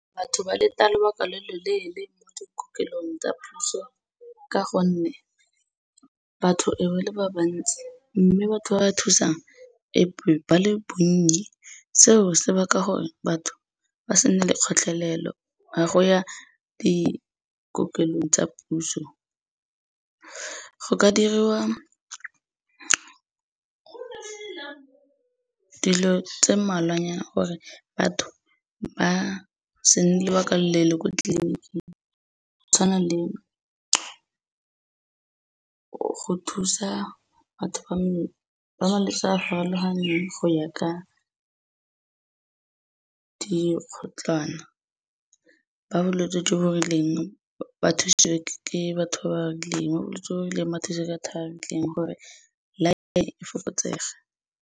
Batho ba leta lobaka lo loleele, kwa dikokelong tsa puso ka gonne batho e be e le ba ba ntsi, mme batho ba ba thusang e be ba le bonnye, seo se baka gore batho ba se nne le kgotlelelo ya go ya dikokelelo tsa puso. Go ka diriwa, dilo tse mmalwanyana gore batho ba se nne lobaka lo loleele ko tleliniking, go tshwana le go thusa batho ba malwetsi a farologaneng go ya ka dikgotlwana. Ba bolwetsi jo bo rileng, ba thusiwe ke batho ba ba rileng, ba bolwetsi jo bo rileng ba thusiwe ke batho ba ba rileng, gore line-e e fokotsege.